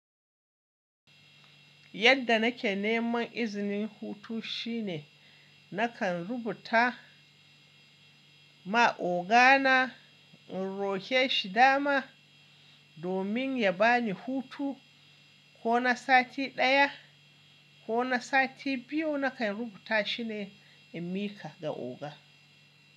Yadda nake neman izinin hutu shine nakan rubuta ma ogana in roƙe shi dama domin ya bani hutu ko na sati ɗaya ko na sati biyu nakan rubuta shine a miƙa ga oga.